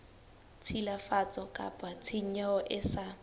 tshilafatso kapa tshenyo e sa